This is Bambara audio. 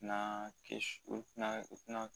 Na kɛ u tɛna u tɛna